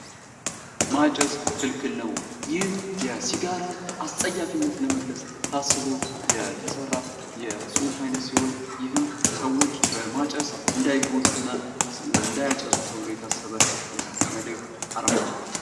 ማጨስ ክልክል ነዉ! ይህ የሲጋራን አፀያፊነት ለመግለፅ ታስቦ የተሰራ የፅሁፍ አይነት ሲሆን ይህም ሰዎች በማጨስ እንዳይጎዱ እና እንዳያጨሱ ለማድረግ የተሰራ አርማ ነዉ።